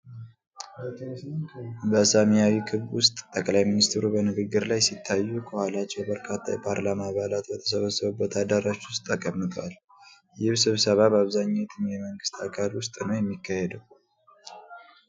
በሰማያዊ ክብ ውስጥ ጠቅላይ ሚኒስትሩ በንግግር ላይ ሲታዩ፣ ከኋላቸው በርካታ የፓርላማ አባላት በተሰባሰቡበት አዳራሽ ውስጥ ተቀምጠዋል። ይህ ስብሰባ በአብዛኛው የትኛው የመንግስት አካል ውስጥ ነው የተካሄደው?